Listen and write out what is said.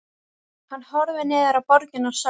Hann horfði niður á borgina og sá